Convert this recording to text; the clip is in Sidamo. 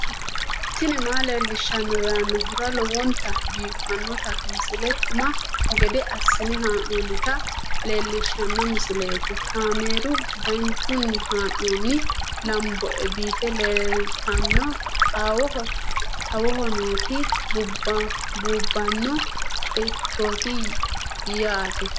tini maa leelishshanno yaannohura lowonta biiffanota misile xuma gede assine haa'noonnita leellishshanno misileeti kaameru danchunni haa'noonni lamboe biiffe leeeltanno xawoho nooti buubbanno ceichooti yaate